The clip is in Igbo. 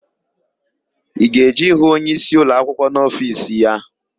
I ga-eje ịhụ onyeisi ụlọakwụkwọ n'ofiisi ya?